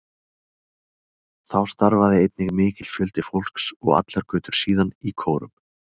Þá starfaði einnig mikill fjöldi fólks, og allar götur síðan, í kórum.